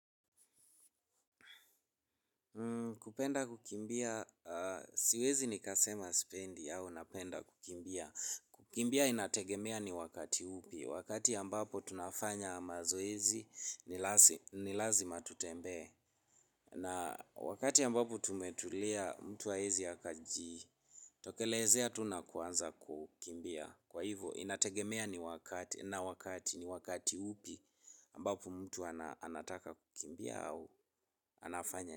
Kupenda kukimbia, siwezi nikasema spendi au napenda kukimbia. Kukimbia inategemea ni wakati upi. Wakati ambapo tunafanya mazoezi ni lazima tutembee. Na wakati ambapo tumetulia mtu haezi akaji, tokelezea tu na kuanza kukimbia. Kwa hivo, inategemea ni wakati, na wakati ni wakati upi ambapo mtu anataka kukimbia au anafanya.